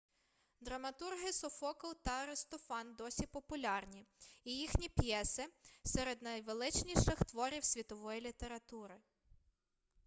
драматурги софокл та аристофан досі популярні і їхні п'єси серед найвеличніших творів світової літератури